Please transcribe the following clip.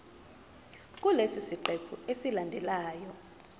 kulesi siqephu esilandelayo